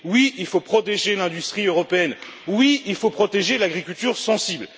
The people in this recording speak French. Oui, il faut protéger l'industrie européenne. Oui, il faut protéger l'agriculture sensible.